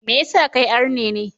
Me yasa kai arne ne?